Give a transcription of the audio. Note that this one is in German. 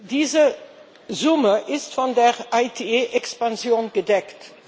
Diese Summe ist von der ITA Expansion gedeckt.